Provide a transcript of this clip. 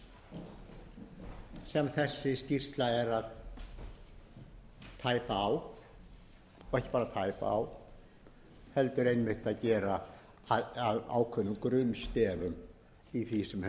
því sem þessi skýrsla er að tæpa á og ekki bara tæpa á heldur gera að ákveðnum grunnstefi í því sem hefur gerst